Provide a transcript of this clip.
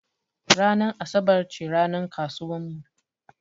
Ranar asabar ce ranar kasuwar mu.